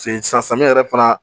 Se san samiya yɛrɛ fana